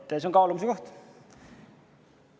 See on kaalumise koht.